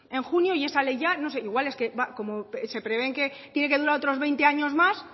en junio y esa ley ya no sé igual es que como se prevé que tiene que durar otros veinte años más